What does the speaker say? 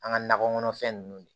An ka nakɔ kɔnɔfɛn ninnu